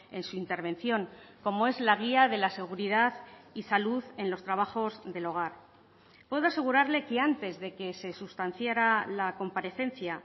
en su intervención como es la guía de la seguridad y salud en los trabajos del hogar puedo asegurarle que antes de que se sustanciara la comparecencia